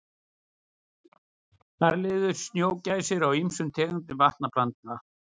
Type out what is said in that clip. Þar lifðu snjógæsirnar á ýmsum tegundum vatnaplantna.